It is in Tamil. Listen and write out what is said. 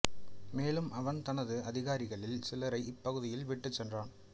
மேலும் அவன் தனது அதிகாரிகளில் சிலரை இப்பகுதியில் விட்டுச் சென்றான்